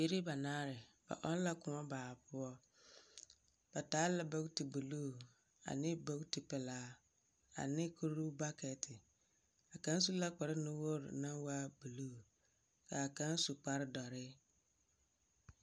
Bibiiri banaare. Ba ɔŋ la kõɔ baa poɔ. Ba taa la bogti buluu ane bogti pelaa ane kur bakɛte. A kaŋ su la kparnuwoori naŋ waa buluu kaa kaŋ su kpardɔree.